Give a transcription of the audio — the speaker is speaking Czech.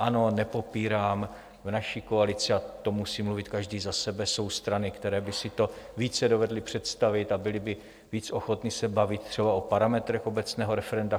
Ano, nepopírám, v naší koalici - a to musí mluvit každý za sebe - jsou strany, které by si to více dovedly představit a byly by víc ochotny se bavit třeba o parametrech obecného referenda.